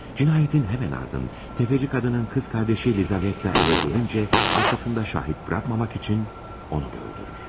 Cinayətin həmin ardın, tefeci qadının qız qardaşı Lizavetta evə gəlincə, arxasında şahid buraxmamaq üçün onu da öldürür.